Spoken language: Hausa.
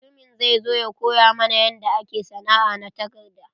Mutumin zai zo ya koya mana yanda ake sana'a na takarda.